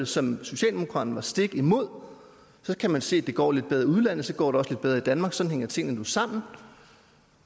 som socialdemokraterne var stik imod så kan man se at det går lidt bedre i udlandet og så går det også lidt bedre i danmark sådan hænger tingene nu sammen